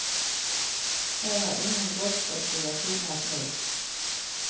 Her er ingen golfstrøm som gjør klimaet mildt.